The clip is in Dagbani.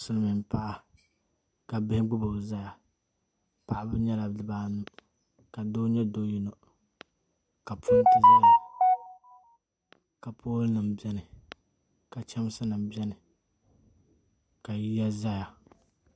Silmiin paɣa ka bihi gbubo ʒɛya paɣaba nyɛla bibaanu ka doo nyɛ zaɣ yino ka pool nim biɛni ka chɛmsi nim biɛni ka yiya ʒɛya